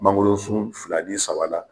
Mangolosun fila ni saba la